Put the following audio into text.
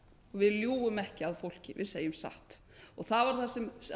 við ljúgum ekki að fólki við segjum satt það var það sem